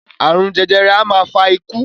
Àrun jẹjẹrẹ a máa fa ikú